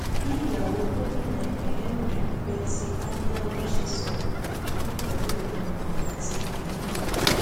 bí ìyàwó gómìnà ìpínlẹ ondo betty anyanwu ṣe sọrọ náà pẹlú ẹdùn ọkàn àti ìbínú rèé